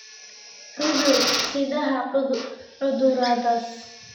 cudur-sidaha cuduradaas